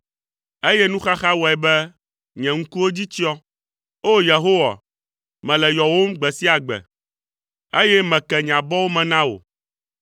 eye nuxaxa wɔe be nye ŋkuwo dzi tsyɔ. O! Yehowa, mele yɔwòm gbe sia gbe, eye meke nye abɔwo me na wò.